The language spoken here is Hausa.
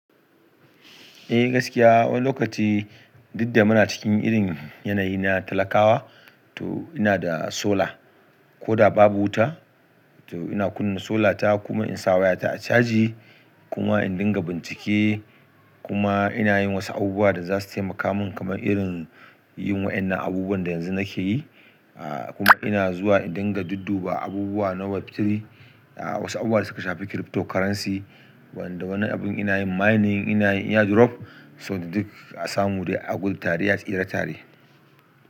Eh gaskiya wani lokaci didda muna cikin irin yanayi na talakawa to ina da solar ko da babu wuta to ina kunna solar ta kuma insa wayata a caji kuma in dinga bincike kuma ina yin wasu abubuwa da za su taimaka min kamar irin yin wa'innan abubuwan da yanzu nake yi a kuma ina zuwa in dinga dudduba abubuwa na web3 a wasu abubuwa da suka shafi cryptocurrency wanda wani abun ina yin mining ina yin airdrop saboda duk a samu dai a gudu tare a tsira tare.